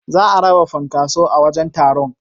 Za a raba funkaso a wajen taron.